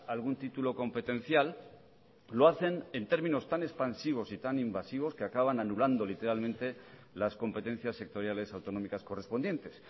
algún título competencial lo hacen en términos tan expansivos y tan invasivos que acaban anulando literalmente las competencias sectoriales autonómicas correspondientes